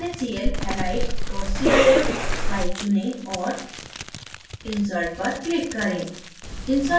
naclhalite cif file चुनें और insert पर click करें